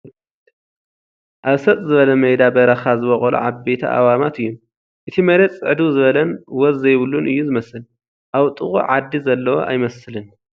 ኣብ ሰጥ ዝበለ መይዳ በረኻ ዝበቖሉ ዓበይቲ ኣእዋማት እዩም ፡ እቲ መሬት ፅዕድው ዝበለን ወዝ ዘይብሉን እዩ ዝመስል ፡ ኣብ ጥቕኡ ዓዲ ዘለዎ ኣይመስልን ።